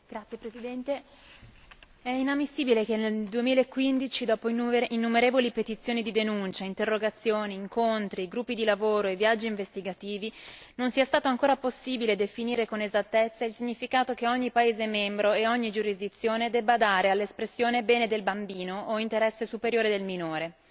Signor Presidente, onorevoli colleghi, è inammissibile che nel 2015, dopo innumerevoli petizioni di denuncia, interrogazioni, incontri, gruppi di lavoro e viaggi investigativi, non sia stato ancora possibile definire con esattezza il significato che ogni Stato membro e ogni giurisdizione debba dare all'espressione bene del bambino o interesse superiore del minore.